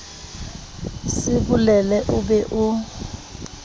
se bolele o be o